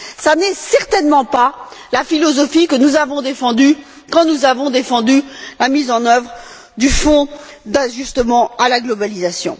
Ce n'est certainement pas la philosophie que nous avons défendue quand nous avons défendu la mise en œuvre du Fonds d'ajustement à la mondialisation.